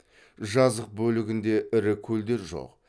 жазық бөлігінде ірі көлдер жоқ